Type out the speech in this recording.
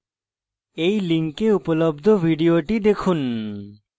এই লিঙ্কে উপলব্ধ video দেখুন